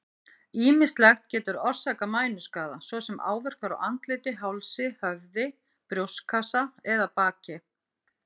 Ýmislegt getur orsakað mænuskaða, svo sem áverkar á andliti, hálsi, höfði, brjóstkassa eða baki.